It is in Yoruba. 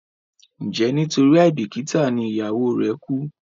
njé nitori aibikita ní ìyàwó re ku?